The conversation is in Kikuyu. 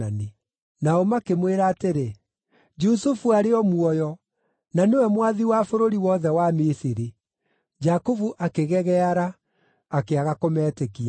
Nao makĩmwĩra atĩrĩ, “Jusufu arĩ o muoyo! Na nĩwe mwathi wa bũrũri wothe wa Misiri.” Jakubu akĩgegeara; akĩaga kũmetĩkia.